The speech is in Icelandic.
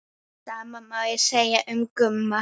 Sama má segja um Gumma.